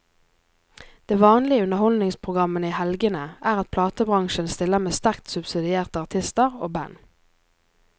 Det vanlige i underholdningsprogrammene i helgene er at platebransjen stiller med sterkt subsidierte artister og band.